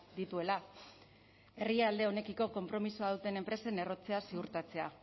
dituela herrialde honekiko konpromisoa duten enpresen errotzea ziurtatzea